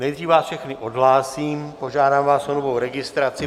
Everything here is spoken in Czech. Nejdřív vás všechny odhlásím, požádám vás o novou registraci.